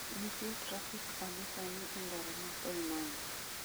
Nitie trafik adi sani e ndara ma koinange